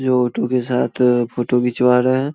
जो ऑटो के साथ फोटो घिंचवा रहे है।